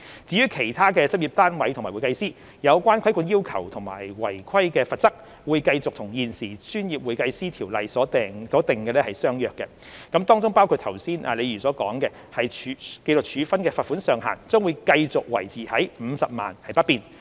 至於其他執業單位和會計師，有關規管要求和違規罰則會繼續與現時《專業會計師條例》所訂者相若，當中包括剛才李議員所說的，紀律處分的罰款上限將繼續維持於50萬元不變。